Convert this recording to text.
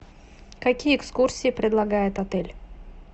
какие экскурсии предлагает отель